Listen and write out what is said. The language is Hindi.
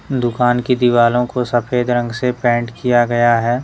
दुकान की दीवारों को सफेद रंग से पेंट किया गया है।